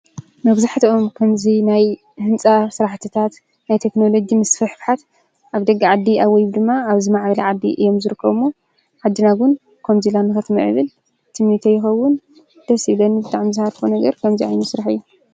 መብዛሕትኦም ከምዚ ናይ ህንፃ ስራሕትታት፣ ናይ ቴክኖሎጂ ምስፍሕፋሓት ኣብ ደገ ዓዲ ወይ ድማ ኣብ ዝማዕበለ ዓዲ እዮም ዝርከቡ እሞ ዓድና እውን ከምዚ ኢላ ንኽትምዕብል ትምኒተይ ይኸውን፡፡ ደስ ይብለኒ፡፡ ዝሃርፎ ነገር ከምዚ ዓይነት ስራሕ እዩ፡፡